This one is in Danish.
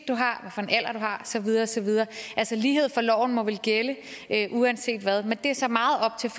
du har og så videre og så videre altså lighed for loven må vel gælde uanset hvad men det er så meget op til